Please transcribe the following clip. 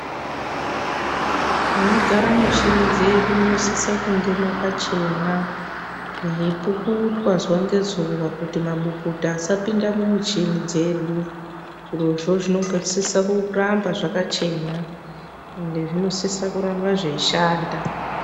Munogara muchini zvedu munosise kunge makachena yeipukutwa zuva ngezuva kuti mabukuta asapinde mumichini dzedu zviro zvezvinogadzirisa kuramba zvakachena ende zvinosise kuramba zvekushanda